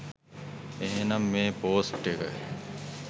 එහෙමනම් මේ පොස්ට් එක